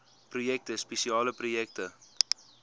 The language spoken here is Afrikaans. projekte spesiale projekte